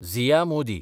Zia Modi